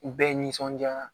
U bɛɛ nisɔndiyara